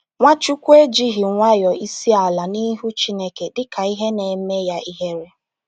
Nwachukwu ejighị nwayọ isi ala n’ihu Chineke dị ka ihe na-eme ya ihere.